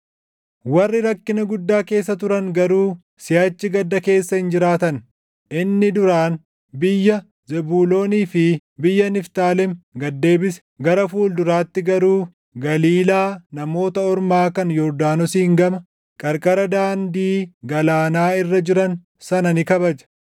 Warri rakkina guddaa keessa turan garuu siʼachi gadda keessa hin jiraatan. Inni duraan biyya Zebuuloonii fi biyya Niftaalem gad deebise; gara fuulduraatti garuu Galiilaa Namoota Ormaa kan Yordaanosiin gama, qarqara Daandii Galaanaa irra jiran sana ni kabaja.